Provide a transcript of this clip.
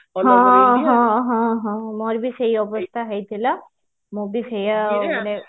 ହଁ ମୋର ବି ସେଇ ଅବସ୍ତା ହେଇଥିଲା ମୁଁ ବି ସେଇଆ ମାନେ